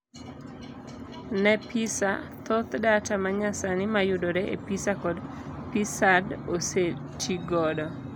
Ne PISA, thoth data manyasani mayudore e PISA kod PISA-D osetii godo.